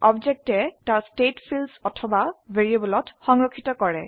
অবজেক্টে তাৰ state fields অথবা ভ্যাৰিয়েবলত সংৰক্ষিত কৰে